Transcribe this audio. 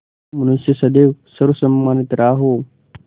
जो मनुष्य सदैव सर्वसम्मानित रहा हो